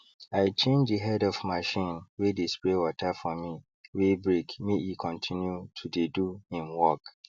i change the head of machine wey dey spray water for me wey breakmake e continue to dey do him work